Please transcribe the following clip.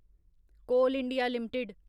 कोल India limited